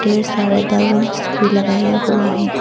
ढेर सारे बलूंस भी लगाया हुआ है।